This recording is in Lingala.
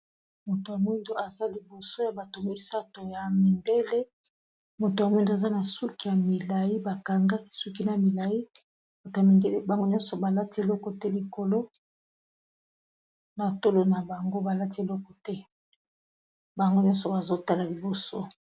moto yamwindo aza liboso ya bato misato ya mindele moto ya mwindo aza na suki ya milai bakangaki suki na milai batamindele bango nyonso balati eloko te likolo na tolo na bango balati eloko te bango nyonso bazotala liboso